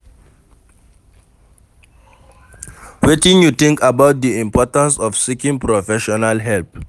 Wetin you think about di importance of seeking professional help?